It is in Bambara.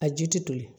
A ji tɛ toli